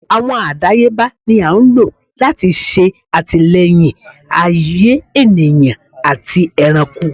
Awọn àdáyébá ní a n lo lati ṣe atilẹyin ayè ènìyàn àtí ẹranko